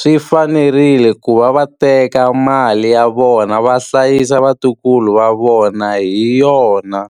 Swi fanerile ku va va teka mali ya vona va hlayisa vatukulu va vona hi yona.